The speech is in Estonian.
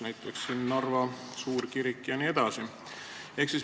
Näiteks on kirjas Narva suurkirik jne.